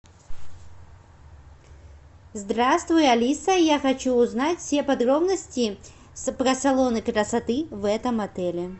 здравствуй алиса я хочу узнать все подробности про салоны красоты в этом отеле